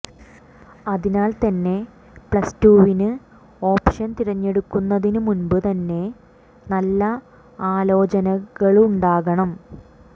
അതിനാൽ തന്നെ പ്ലസ്ടുവിന് ഓപ്ഷൻ തിരഞ്ഞെടുക്കുന്നതിന് മുമ്പു തന്നെ നല്ല ആലോചനകളുണ്ടാകണം